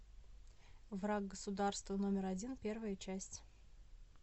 враг государства номер один первая часть